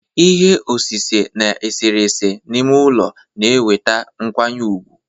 Ihe osise na eserese n'ime ụlọ na-eweta nkwanye ùgwù